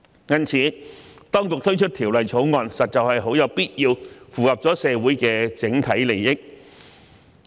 因此，當局推出《條例草案》，實在很有必要，符合社會的整體利益。